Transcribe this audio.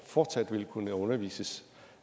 fortsat vil kunne undervises